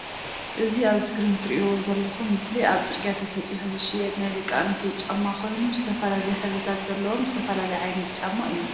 እዚ ኣብ እስክሪን እትሪእዎ ዘለኩም ምስሊ ኣብ ፅርግያ ተሰጢሑ ዝሽየጥ ናይ ደቂ ኣንስትዮ ጫማ ኮይኑ ዝተፈላለዩ ሕብርታት ዘለዎም ዝተፈላለዩ ዓይነት ጫማ እዮም